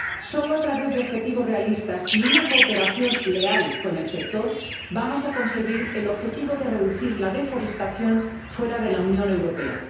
Solo a través de objetivos realistas y una cooperación leal con el sector, vamos a conseguir el objetivo de reducir la deforestación fuera de la Unión Europea.